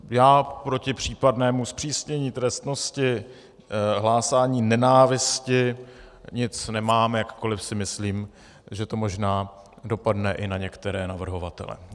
Já proti případnému zpřísnění trestnosti hlásání nenávisti nic nemám, jakkoli si myslím, že to možná dopadne i na některé navrhovatele.